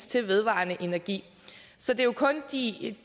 til vedvarende energi så det er jo kun de